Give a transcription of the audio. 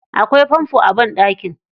Akwai fanfo a banɗaki.